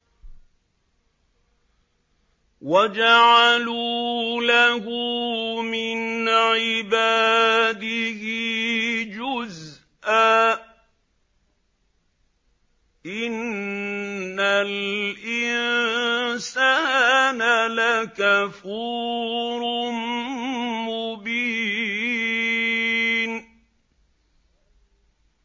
وَجَعَلُوا لَهُ مِنْ عِبَادِهِ جُزْءًا ۚ إِنَّ الْإِنسَانَ لَكَفُورٌ مُّبِينٌ